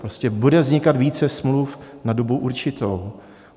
Prostě bude vznikat více smluv na dobu určitou.